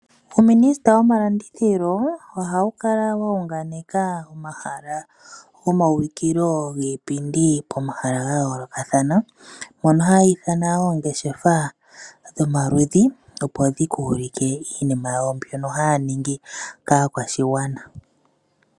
Uuminista womalandithilo ohawu wa unganeka omahala gomaulikilo giipindi pomahala ga yoolokathana. Mono haya ithana oongeshefa dhomaludhi opo dhi ka ulike iinima yawo mbyono haya ningi kaakwashigwana.